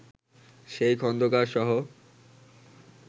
সেই খন্দকারসহ